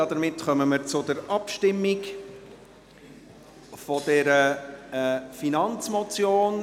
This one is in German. Damit kommen wir zur Abstimmung zu dieser Finanzmotion.